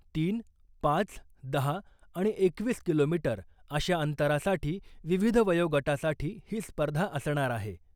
तीन, पाच, दहा आणि एकवीस किलोमीटर अशा अंतरासाठी विविध वयोगटासाठी ही स्पर्धा असणार आहे .